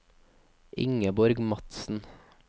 Ingeborg Madsen